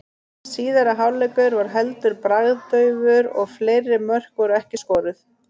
Síðari hálfleikur var heldur bragðdaufur og fleiri mörk voru ekki skoruð.